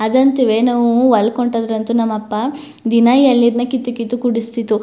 ಅದಂತೂವೆ ನಾವು ನಾವು ಹೊಲಕ್ ಹೊಂಟೋದ್ರಂತೂ ನಮ್ಮಪ್ಪ ದಿನಾ ಎಳ್ ನೀರ್ ನ ಕಿತ್ತು ಕಿತ್ತು ಕುಡಿಸ್ತಿತ್ತು.